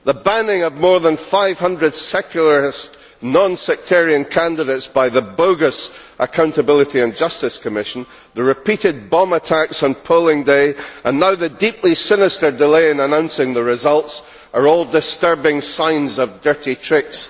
The banning of more than 500 secular non sectarian candidates by the bogus Accountability and Justice Commission, the repeated bomb attacks on polling day, and the deeply sinister delay in announcing the results, are all disturbing signs of dirty tricks.